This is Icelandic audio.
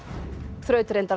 þrautreyndar